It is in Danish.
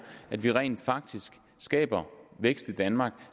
at vi rent faktisk skaber vækst i danmark